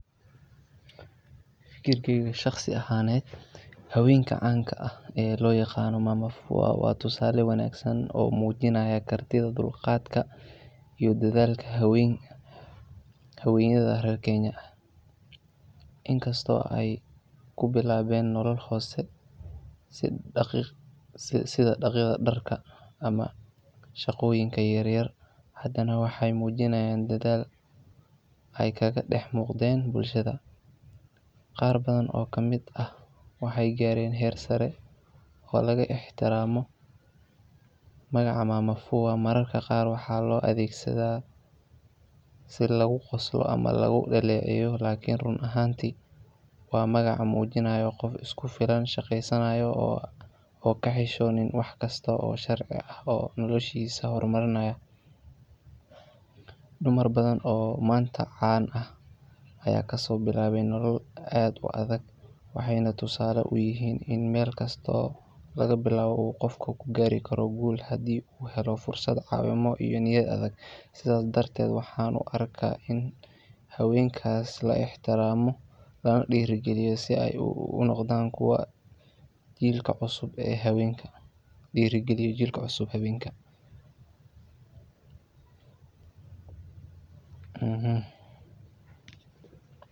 Fikirkeyga Shaqsiga ah aneet haweenka caanka ah ee loo yaqaano [Mama Fua] ay yihiin tusaale wanaagsan oo muujinaya kartida, dulqaadka, iyo dadaalka haweenka reer Kenya. In kasta oo ay noloshooda ku bilaabeen xaalado hoose sida dhaqidda dharka ama shaqooyin yaryar, haddana waxay muujiyeen dadaal iyo go’aan adag oo ay kaga horeeyeen bulsho badan. Mama Fua waa magaca lagu tilmaamo qof isku kalsoon, shaqaysanaya, isla markaana aan ka xishoonin in uu qabto wax kasta oo sharci ah si uu noloshiisa u horumariyo. Inkasta oo magaca Mama Fua mararka qaar loo adeegsado si lagu qoslo ama lagu xaqiro, haddana run ahaantii waa magac astaan u aah qoof shaqesaanayo oo ka xisonin waax kasto oo sharcii aah . Haween badan ayaa maanta noloshooda ka bilaabay meelo aad u hooseeya, balse waxay noqdeen tusaale cad oo muujinaya in meel kasta laga bilaabi karo horumar, haddii la helo fursad, caawimaad, iyo niyad adag. Sidaas darteed, waxaan aaminsanahay in haweenkan la ixtiraamo lana dhiirrigeliyo, si ay u noqdaan kuwo dhiirrigeliya jiilka cusub ee haweenka. Waa muhiim in bulshada ay aragto qiimaha iyo kaalinta haweenka Mama Fua ee horumarka nolosha iyo bulshada.